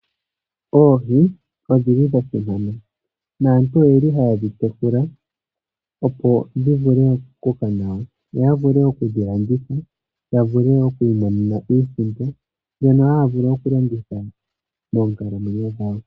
Oohi odhili dha simana naantu oyeli hayedhi tekula , opo dhi vule okumunwa yo ya vule okudhi landitha ya vule okwiimonena mo iisimpo mbyono haya vulu okulongitha moonkalamwenyo dhawo.